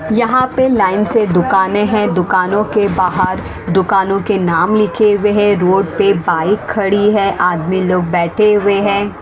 यहाँ पे लाइन से दुकानें हैं दुकानों के बाहर दुकानों के नाम लिखे हुए हैं रोड पे बाइक खड़ी है आदमी लोग बैठे हुए हैं।